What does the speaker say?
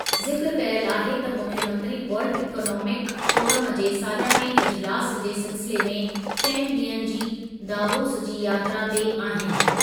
ज़िक्रु कयल आहे त मुख्यमंत्री वर्ल्ड इकॉनोमिक फोरम जे सालियाने इजिलासु जे सिलसिले में चइनि ॾींहनि जी दावोस जी यात्रा ते आहिनि।